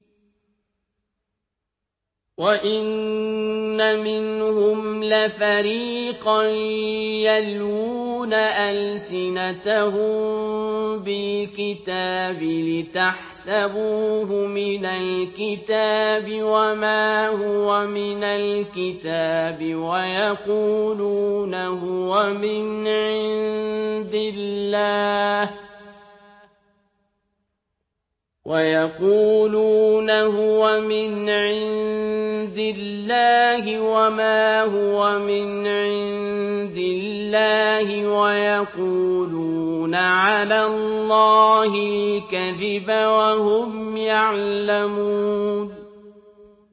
وَإِنَّ مِنْهُمْ لَفَرِيقًا يَلْوُونَ أَلْسِنَتَهُم بِالْكِتَابِ لِتَحْسَبُوهُ مِنَ الْكِتَابِ وَمَا هُوَ مِنَ الْكِتَابِ وَيَقُولُونَ هُوَ مِنْ عِندِ اللَّهِ وَمَا هُوَ مِنْ عِندِ اللَّهِ وَيَقُولُونَ عَلَى اللَّهِ الْكَذِبَ وَهُمْ يَعْلَمُونَ